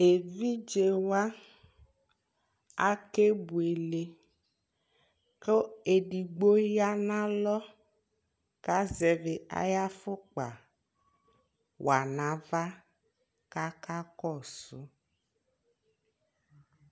ɛvidzɛ wa akɛ bʋɛlɛ kʋ ɛdigbɔ yanʋ alɔ kʋ azɛvi ayi aƒʋkpa wanʋ aɣa kʋ akakɔsʋ